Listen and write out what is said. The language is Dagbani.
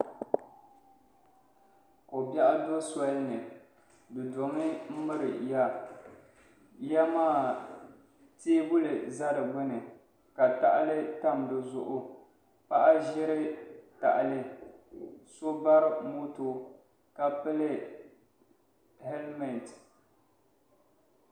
Kobiɛɣu do soli ni di domi miri ya ya maa teebuli za di gbuni ka tahali tam di zuɣu paɣa ʒiri tahali so bari moto ka pili helimeti.